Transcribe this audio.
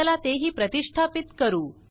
चला ते ही प्रतिष्ठापीत करू